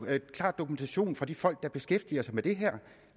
klar dokumentation fra de folk der beskæftiger sig med det her